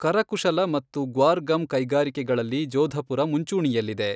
ಕರಕುಶಲ ಮತ್ತು ಗ್ವಾರ್ ಗಮ್ ಕೈಗಾರಿಕೆಗಳಲ್ಲಿ ಜೋಧಪುರ ಮುಂಚೂಣಿಯಲ್ಲಿದೆ.